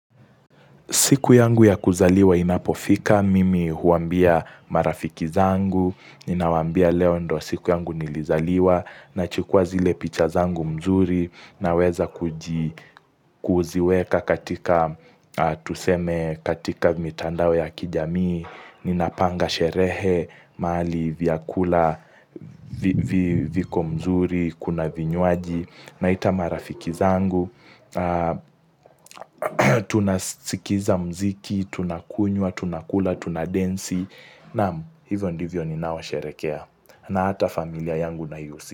Siku yangu ya kuzaliwa inapofika, mimi huambia marafiki zangu, ninawambia leo ndio siku yangu nilizaliwa, nachukua zile picha zangu mzuri, naweza kuziweka katika, tuseme katika mitandao ya kijamii, ninapanga sherehe, mali, vyakula, viko mzuri, kuna vinywaji, naita marafiki zangu. Tunasikiza mziki tunakunywa, tunakula, tunadensi Naam hivyo ndivyo ninao sherekea na hata familia yangu na yusi.